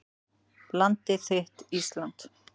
Landið þitt Ísland